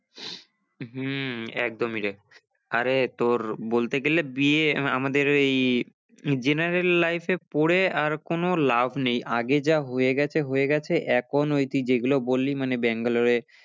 হম একদমই রে আরে তোর বলতে গেলে B. A. আমাদের এই general life এ পরে আর কোনো লাভ নেই, আগে যা হয়ে গেছে হয়ে গেছে এখন ওই তুই যেগুলো বললি মানে ব্যাঙ্গালোরে